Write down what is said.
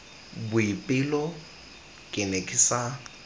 boipelo ke ne ke sa